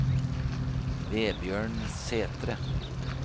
Vebjørn Sætre